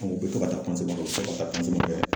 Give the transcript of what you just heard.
Ɔn, u be tɔ ka taa kɛ u bɔ to ka taa kɛ.